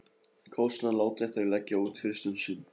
Kostnaðinn láta þeir leggja út fyrst um sinn.